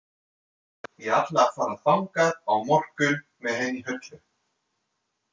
Ég ætla að fara þangað á morgun með henni Höllu.